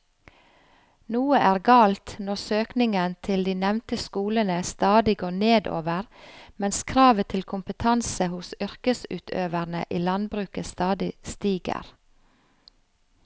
Noe er galt når søkningen til de nevnte skolene stadig går nedover mens kravet til kompetanse hos yrkesutøverne i landbruket stadig stiger.